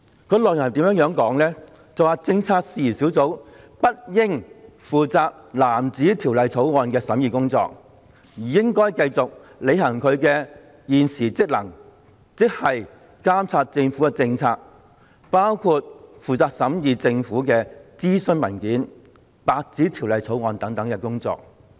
有關內容如下："政策事宜小組不應負責藍紙條例草案的審議工作，而應繼續履行其現時職能，此即監察政府政策，包括負責審議政府的諮詢文件、白紙條例草案等工作。